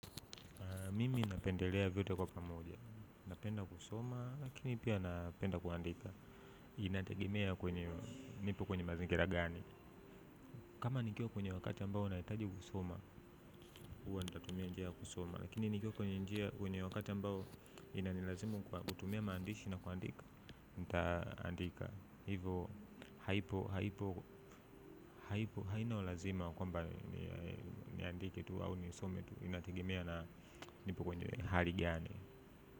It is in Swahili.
Mimi napendelea vyote kwa pamoja. Napenda kusoma, lakini pia napenda kuandika. Inategemea kwenye, nipo kwenye mazingira gani. Kama nikiwa kwenye wakati ambao nahitaji kusoma, huwa natumia njia ya kusoma. Lakini nikiwa kwenye wakati ambao inanilazimu kutumia maandishi na kuandika. Nitaandika. Hivyo hakuna ulazima kwamba niandike tu au nisome tu, inategemea na nipo kwenye hali gani.